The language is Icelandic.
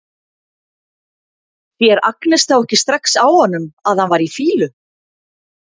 Sér Agnes þá ekki strax á honum að hann var í fýlu?